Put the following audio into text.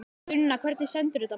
Sunna, hvernig stendur þetta mál?